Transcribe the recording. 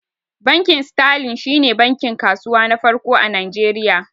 Bankin sterling shi ne bankin kasuwa na farko a Najeriya